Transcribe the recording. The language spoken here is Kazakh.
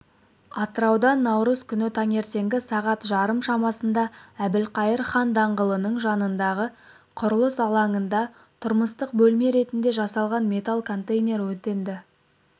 атырауда наурыз күнітаңертеңгі сағат жарым шамасында әбілқайыр хан даңғылының жанындағы құрылыс алаңында тұрмыстық бөлме ретінде жасалған металл контейнер өртенді